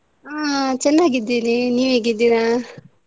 ಹಾ ಚೆನ್ನಾಗಿದ್ದೀನಿ ನೀವು ಹೇಗಿದ್ದೀರಾ?